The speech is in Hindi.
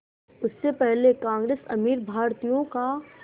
उससे पहले कांग्रेस अमीर भारतीयों का